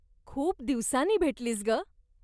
खूप दिवसांनी भेटलीस ग.